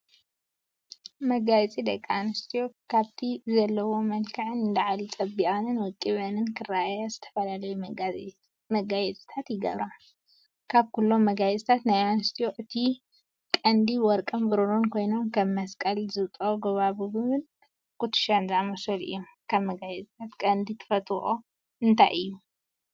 መጋየፂ፡- ደቂ ኣንስትዮ ካብቲ ዘለዎን መልክዕ ንላዕሊ ፀቢቐንን ወቂበንን ክረአያ ዝተፈላለዩ መጋየፂታት ይገብራ፡፡ ካብኩሎም መጋየፅታት ናይ ኣንስትዮ እቲ ቀንዲ ወርቅን ብሩን ኮይኖም ከም መስቀል፣ ዝብጦ ጎባጉብን ኩትሻን ዝኣመሰሉ እዮም፡፡ ካብ መጋፂታት ቀንዲ ትፈትዎኦ እንታይ እዩ?